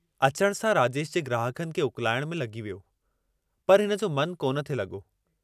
अचण सां राजेश जे ग्राहकनि खे उकलाइण में लगी वियो, पर हिनजो मनु कोन थे लगो।